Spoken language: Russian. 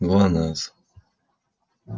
глонассс